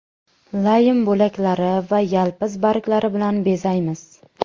Laym bo‘laklari va yalpiz barglari bilan bezaymiz.